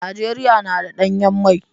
Najeriya na da danyen mai.